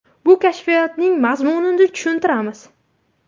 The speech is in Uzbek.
Bu kashfiyotning mazmunini tushuntiramiz.